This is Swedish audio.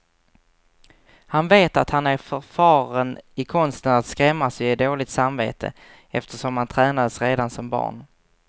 Han vet att han är förfaren i konsten att skrämmas och ge dåligt samvete, eftersom han tränades redan som barn.